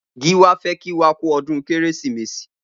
Giwa fè kí wà kù ọdùn Kérésimési